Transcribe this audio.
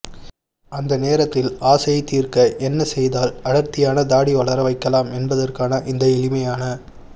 அந்த நேரத்தில் ஆசையை தீர்க்க என்ன செய்தால் அடர்த்தியான தாடி வளர வைக்கலாம் என்பதற்காக இந்த எளிமையான